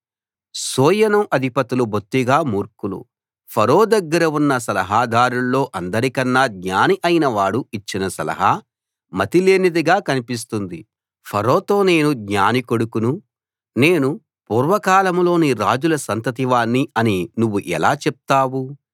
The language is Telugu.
సోయను అధిపతులు బొత్తిగా మూర్ఖులు ఫరో దగ్గర ఉన్న సలహాదారుల్లో అందరికన్నా జ్ఞాని అయిన వాడు ఇచ్చిన సలహా మతిలేనిదిగా కన్పిస్తుంది ఫరోతో నేను జ్ఞాని కొడుకును నేను పూర్వ కాలంలోని రాజుల సంతతి వాణ్ణి అని నువ్వు ఎలా చెప్తావు